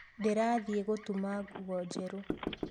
Ndĩrathiĩ gũtuma nguo njerũ